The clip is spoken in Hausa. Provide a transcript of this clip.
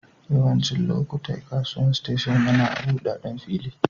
Yawancin lokatai kasuwan station yana a'budaden fili.